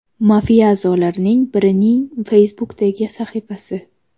Mafiya a’zolaridan birining Facebook’dagi sahifasi.